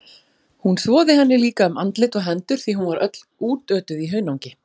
Hún þvoði henni líka um andlit og hendur því hún var öll útötuð í hunangi.